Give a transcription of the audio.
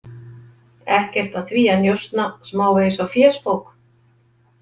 Ekkert að því að njósna smávegis á fésbók.